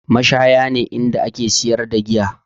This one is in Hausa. Mashaya ne inda ake siyar da giya